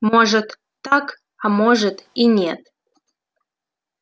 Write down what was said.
может так а может и нет